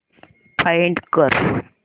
find कर